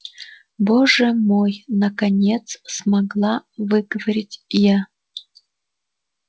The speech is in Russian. боже мой наконец смогла выговорить я